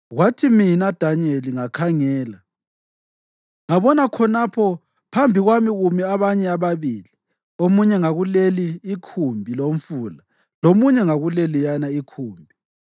Kwathi mina, Danyeli, ngakhangela, ngabona khonapho phambi kwami kumi abanye ababili, omunye ngakuleli ikhumbi lomfula lomunye ngakuleliyana ikhumbi.